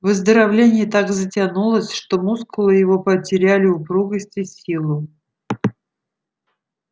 выздоровление так затянулось что мускулы его потеряли упругость и силу